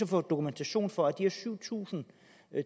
få dokumentation for at de her syv tusind